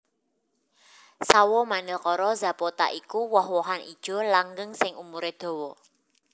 Sawo Manilkara zapota iku woh wohan ijo langgeng sing umuré dawa